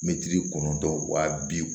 Mɛtiri kɔnɔntɔn wa bi